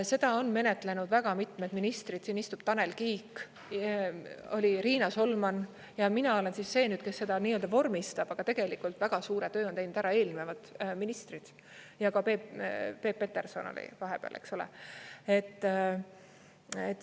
Seda on menetlenud mitmed ministrid, siin istub Tanel Kiik, oli Riina Solman ja mina olen siis see nüüd, kes seda nii-öelda vormistab, aga tegelikult väga suure töö on teinud ära eelnevad ministrid, ja Peep Peterson oli vahepeal, eks ole?